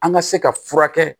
An ka se ka furakɛ